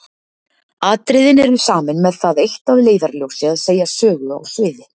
Atriðin eru samin með það eitt að leiðarljósi að segja sögu á sviði.